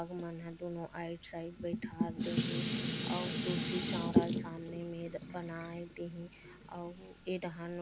आगु मन ह दोनों आइड साइड बैठाल दे ही और तुलसी चौरा ला सामने में बनाय देहि अउ ये डहान --